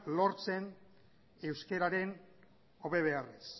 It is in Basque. lortzen euskararen hobe beharrez